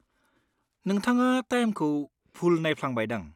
नोंथाङा टाइमखौ भुल नायफ्लांबायदां।